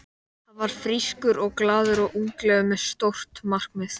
Hann var frískur og glaður og unglegur með stór markmið.